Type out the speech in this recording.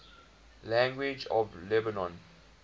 languages of lebanon